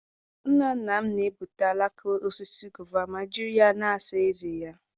Nna nna m na-egbutu alaka osisi gova ma jiri ya na-asa ezé ya.